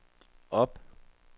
op